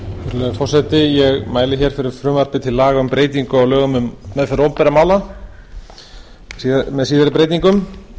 virðulegi forseti ég mæli fyrir frumvarpi til laga um breytingu á lögum um meðferð opinberra mála með síðari breytingum